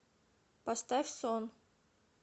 поставь сон